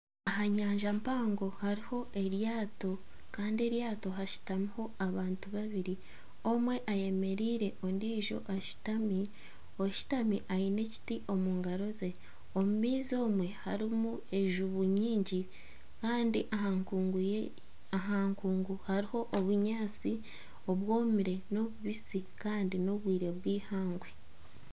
Aha nyanja mpango hariho eryato kandi eryato hashutamiho abantu babiri omwe ayemereire ondiijo ashutami, oshutami aine ekiti omu ngaro ze omu maizi omwe harimu enjubu nyingi kandi aha nkungu hariho obunyaatsi obwomire n'obubisi kandi n'obwire bw'eihangwe.